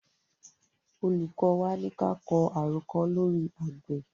Olùkọ́ wa ní ka kọ àròkọ lóri àgbẹ̀.